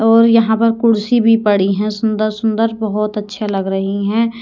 और यहाँ पर कुर्सी भी पड़ी है सुंदर सुंदर बहोत अच्छे लग रही हैं।